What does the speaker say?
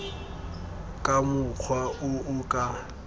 ka mokgwa o o ka